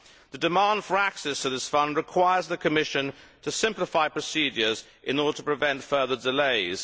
The demand for access to this Fund requires the Commission to simplify procedures in order to prevent further delays.